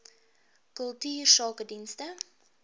kultuursakedienste